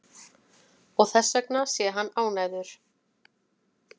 Og þessvegna sé hann ánægður